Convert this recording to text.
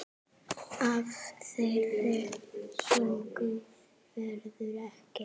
Af þeirri göngu verður ekki.